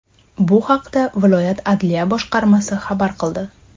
Bu haqda viloyat adliya boshqarmasi xabar qildi .